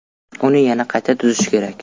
Uni yana qayta tuzish kerak.